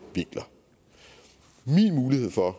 vinkler min mulighed for at